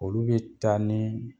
Olu bi ta ni